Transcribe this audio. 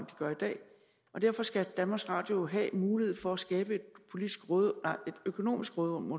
de gør i dag og derfor skal danmarks radio jo have mulighed for at skabe et økonomisk råderum